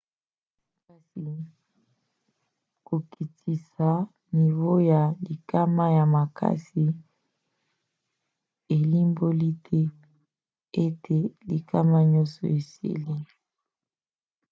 kasi kokitisa nivo ya likama na makasi elimboli te ete likama nyonso esili.